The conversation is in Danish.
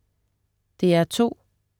DR2: